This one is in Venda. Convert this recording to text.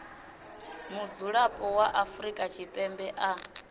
mudzulapo wa afrika tshipembe a